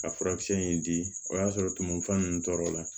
Ka furakisɛ in di o y'a sɔrɔ tumufa ninnu tɔɔrɔ la